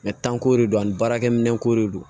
tanko de don ani baarakɛminɛnko de don